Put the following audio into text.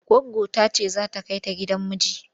Goggonta ce za ta kai ta gidan miji.